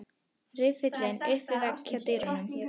Riffillinn upp við vegg hjá dyrunum.